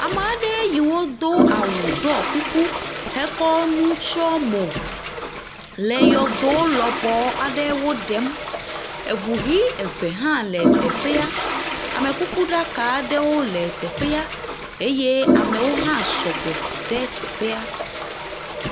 Ame aɖe yiwo do awu, ɖɔ kuku, wotsɔ nu tsyɔ mo le yɔdo lɔbɔ aɖewo ɖem. Eŋu ʋi eve hã le teƒea, amekukuɖaka aɖewo le teƒea eye amewo hã sɔgbɔ ɖe teƒea.